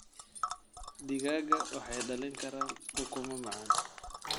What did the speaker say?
Digaagga waxay dhalin karaan ukumo macaan.